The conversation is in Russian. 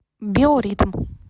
биоритм